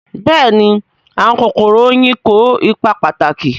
Bẹ́ẹ̀ni àwọn kòkòrò oyin kó ipa pàtàkì